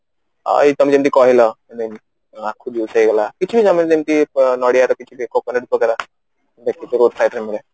ଏ ଇ ତମେ ଯେମିତି କହିଲ ଆଖୁ ଜୁସ ହେଇଗଲା କିଛି ଏନବି ଯାହା ମାନେ ଯେମିତି ଅ ନଡିଆର ଯେମିତି coconut road side ରେ ମିଳେ